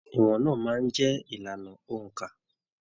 Ìwọn náà máa n jẹ ìlànà óńka.